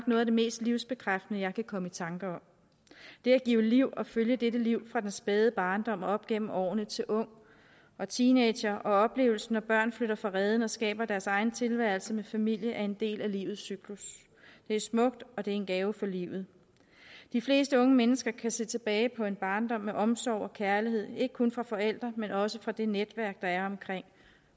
noget af det mest livsbekræftende jeg kan komme i tanke om det at give liv og følge dette liv fra den spæde barndom og op igennem årene til ung og teenager og oplevelsen når børn flytter fra reden og skaber deres egen tilværelse med familie er en del af livets cyklus det er smukt og det er en gave for livet de fleste unge mennesker kan se tilbage på en barndom med omsorg og kærlighed ikke kun fra forældre men også fra det netværk der er omkring